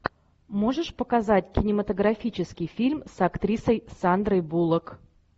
можешь показать кинематографический фильм с актрисой сандрой буллок